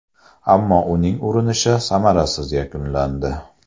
Ammo uning urinishi samarasiz yakunlandi.